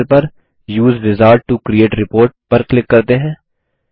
दायें पैनेल पर उसे विजार्ड टो क्रिएट रिपोर्ट पर क्लिक करते हैं